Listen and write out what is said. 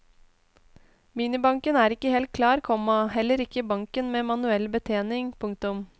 Minibanken er ikke helt klar, komma heler ikke banken med manuell betjening. punktum